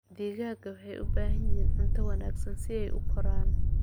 Digaagga waxay u baahan yihiin cunto wanaagsan si ay u koraan.